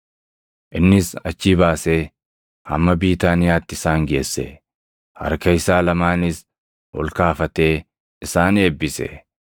Innis achii baasee hamma Biitaaniyaatti isaan geesse; harka isaa lamaanis ol kaafatee isaan eebbise.